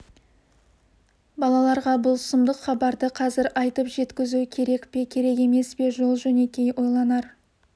балаларға бұл сұмдық хабарды қазір айтып жеткізу керек пе керек емес пе жол-жөнекей ойланар